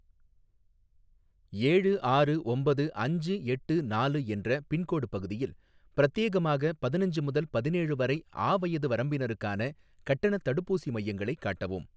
ஏழு ஆறு ஒம்பது அஞ்சு எட்டு நாலு என்ற பின்கோடு பகுதியில் பிரத்யேகமாக பதினஞ்சு முதல் பதினேழு வரை 'ஆ' வயது வரம்பினருக்கான கட்டணத் தடுப்பூசி மையங்களை காட்டவும்